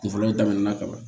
Kun fɔlɔ daminɛna ka ban